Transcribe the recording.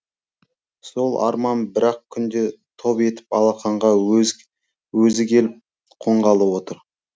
сол арман бір ақ күнде топ етіп алақанға өзі келіп қонғалы отыр